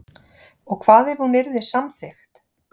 Og hvað ef hún yrði samþykkt